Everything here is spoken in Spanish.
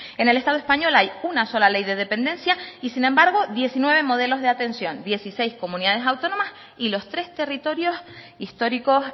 en el estado español hay una sola ley de dependencia y sin embargo diecinueve modelos de atención dieciséis comunidades autónomas y los tres territorios históricos